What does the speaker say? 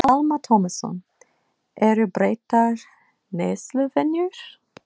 Telma Tómasson: Eru breyttar neysluvenjur?